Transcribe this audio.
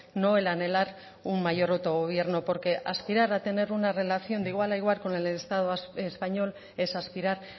no el anhelar un mayor autogobierno porque aspirar a tener una relación de igual a igual con el estado español es aspirar